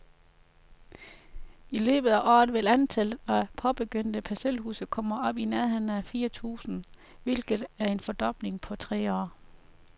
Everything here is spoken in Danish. I løbet af året vil antallet af påbegyndte parcelhuse komme op i nærheden af fire tusind, hvilket er en fordobling på tre år.